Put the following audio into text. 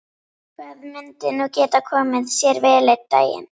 Það myndi nú geta komið sér vel einn daginn.